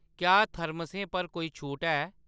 क्या थर्मसें पर कोई छूट ऐ ?